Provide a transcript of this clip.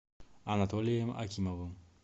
анатолием акимовым